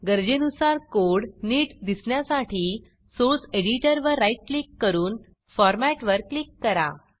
गरजेनुसार कोड नीट दिसण्यासाठी सोर्स एडिटरवर राईट क्लिक करून फॉरमॅटवर क्लिक करा